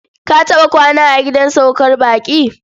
Ka taɓa kwana a gidan saukar baƙi?